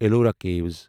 Ellora caves